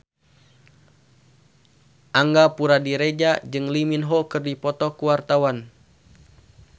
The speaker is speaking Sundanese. Angga Puradiredja jeung Lee Min Ho keur dipoto ku wartawan